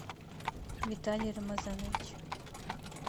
виталий рамазанович